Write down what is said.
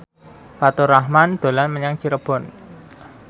Faturrahman dolan menyang Cirebon